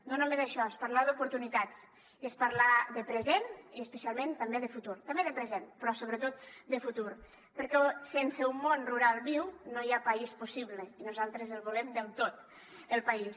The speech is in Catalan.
no només això és parlar d’oportunitats i és parlar de present i especialment també de futur també de present però sobretot de futur perquè sense un món rural viu no hi ha país possible i nosaltres el volem del tot el país